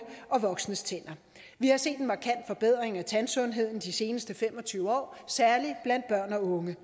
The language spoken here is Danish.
og voksnes tænder vi har set en markant forbedring af tandsundheden de seneste fem og tyve år særlig blandt børn og unge